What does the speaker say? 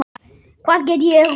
Hvað get ég gert núna?